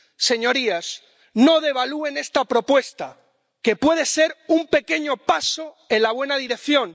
Señorías, no devalúen esta propuesta, que puede ser un pequeño paso en la buena dirección.